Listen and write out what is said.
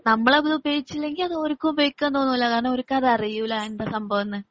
നമ്മളത് ഉപോയോഗിച്ചില്ലങ്കിൽ അത് ഓര്ക്കും ഉപയോഗിക്കാൻ തോന്നുല്ല. കാരണം ഓര്ക്കും അതറിയൂല എന്താ സഭാവമെന്നു.